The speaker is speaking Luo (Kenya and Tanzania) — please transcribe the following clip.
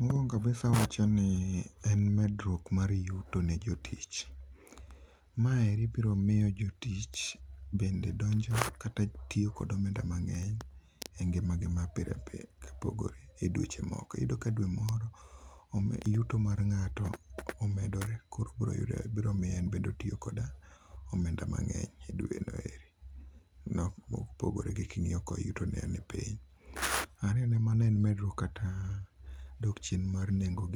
Mokuongo kabisa awacho ni en medruok mar yuto ne jotich. Maeri biro miyo jotich bend edonjo kata tiyo gi omenda mangeny e ngimagi ma pile pile kopogore e dweche moko. Iyudo ka dwe moro, yuo mar ngato omedore koro biro miyo en be otiyo gi omend amangeny e dweno eri kopogore gi kingiyo ni yutone ni piny. Pare ni mano en medruok kata dok chien mar nengo